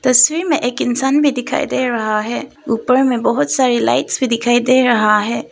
तस्वीर में एक इंसान भी दिखाई दे रहा है ऊपर में बहुत सारी लाइट्स भी दिखाई दे रहा है।